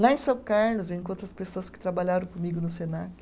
Lá em São Carlos, eu encontro as pessoas que trabalharam comigo no Senac.